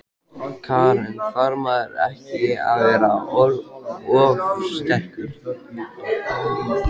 Karen: Þarf maður ekki að vera ofursterkur?